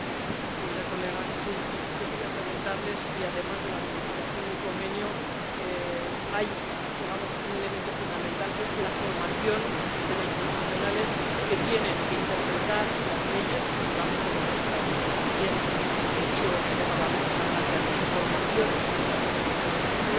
Señoría, yo quería preguntarle si, además de la ratificación del Convenio, hay —digamos— un elemento fundamental, que es la formación de los profesionales que tienen que interpretar las leyes, no solamente de los legisladores, que también, y, de hecho, este Parlamento está planteándose formación también en cuestiones de género.